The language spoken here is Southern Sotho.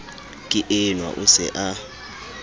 ke enwa o se a